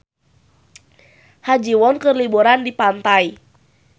Ha Ji Won keur liburan di pantai